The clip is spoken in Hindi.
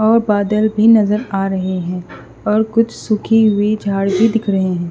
और बादल भी नजर आ रहे हैं और कुछ सूखी हुई झाड़ भी दिख रहे हैं।